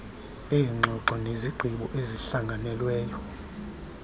eengxoxo nezigqibo ezihlanganelweyo